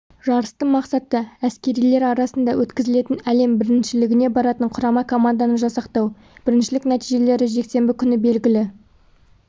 жарыстың мақсаты әскерилер арасында өткізілетін әлем біріншілігіне баратын құрама команданы жасақтау біріншілік нәтижелері жексенбі күні белгілі